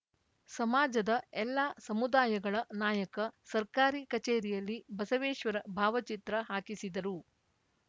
ಸಮಾಜದ ಎಲ್ಲಾ ಸಮುದಾಯಗಳ ನಾಯಕ ಸರ್ಕಾರಿ ಕಚೇರಿಯಲ್ಲಿ ಬಸವೇಶ್ವರ ಭಾವಚಿತ್ರ ಹಾಕಿಸಿದರು